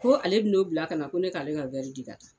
Ko ale bi n'o bila ka na ko ne k'ale ka di ka taa.